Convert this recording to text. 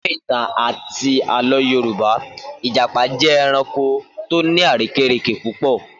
Nínú ìtàn àti àlọ́ Yorùbá, Ìjàpá jẹ́ ẹranko tó ní àrékérekè púpọ̀